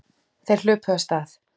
Þeir hlupu af stað.